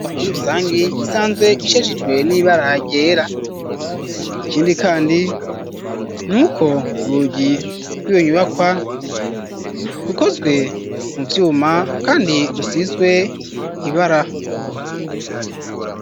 Inyubwakwa muri rusangi isanzwe isharijwe n'iba rahagera ikindi kandi n'uko rugi rw'ibonyubakwa rukozwe mu vyuma kandi rusizwe ibara.